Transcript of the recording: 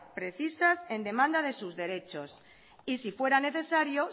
precisas en demanda de sus derechos y si fuera necesario